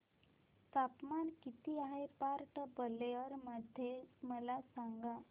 तापमान किती आहे पोर्ट ब्लेअर मध्ये मला सांगा